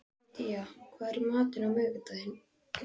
Egedía, hvað er í matinn á miðvikudaginn?